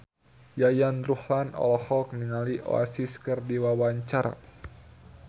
Yayan Ruhlan olohok ningali Oasis keur diwawancara